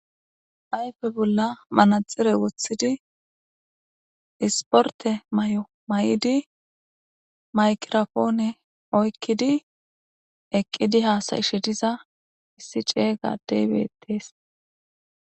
Ayfe bola manaxire wotidi isporte mayo mayidi maygirapone oykidi eqidi hasa'she diza issi c'ega adey betes.